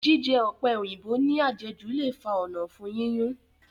Jíjẹ ọ̀pẹ̀ òyìnbó ní àjẹjù le fa ònà ọ̀fun yíyún